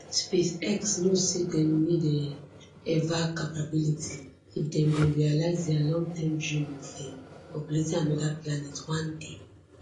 space x know say dem need um eva capability if dem go realise dia longterm dream of um populating anoda planet one day